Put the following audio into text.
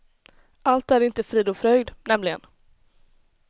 Allt är inte frid och fröjd, nämligen.